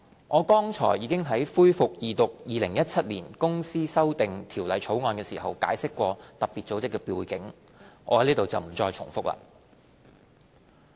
我剛才已於恢復二讀《2017年公司條例草案》時解釋過特別組織的背景，在此不再重複。